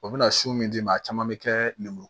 O bɛna su min d'i ma caman bɛ kɛ lemuru